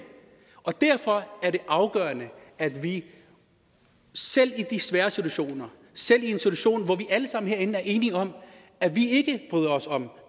derfor er det afgørende at vi selv i de svære situationer selv i en situation hvor vi herinde alle sammen er enige om at vi ikke bryder os om